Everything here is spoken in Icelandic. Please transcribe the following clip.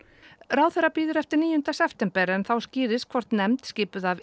ráðherra bíður eftir níunda september en þá skýrist hvort nefnd skipuð af